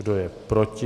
Kdo je proti?